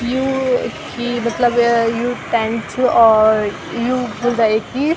यू यक्खी मतलब यु टेंट च और यू बुलई की।